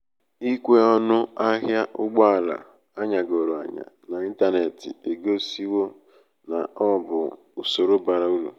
ikwe ọṅụ ahịa ụgbọ ala anyagoro anya n'ịntanetị egosiwo na ọ bụ usoro bara uru